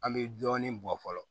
An bɛ dɔɔnin bɔ fɔlɔ